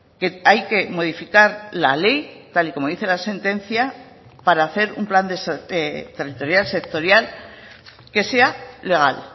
que hay que modificar la ley tal y como dice la sentencia para hacer un plan territorial sectorial que sea legal